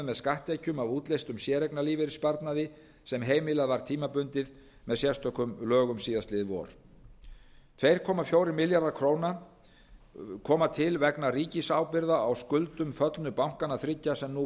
með skatttekjum af útleystum séreignarlífeyrissparnaði sem heimilað var tímabundið með sérstökum lögum síðastliðið vor tvö komma fjórir milljarðar króna koma til vegna ríkisábyrgða á skuldum föllnu bankanna þriggja sem nú